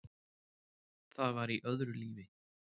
Það var í öðru lífi.